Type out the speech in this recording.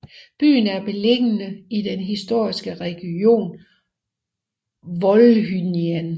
Byen er beliggende i den historiske region Volhynien